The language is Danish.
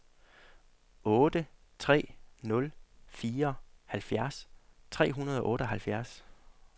otte tre nul fire halvfjerds tre hundrede og otteoghalvfjerds